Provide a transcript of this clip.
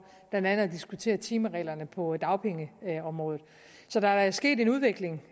blandt andet at diskutere timereglerne på dagpengeområdet så der er da sket en udvikling